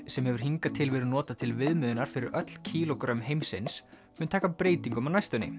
sem hefur hingað til verið notað til viðmiðunar fyrir öll kílógrömm heimsins mun taka breytingum á næstunni